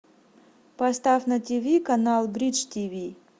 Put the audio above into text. поставь на тиви канал бридж тиви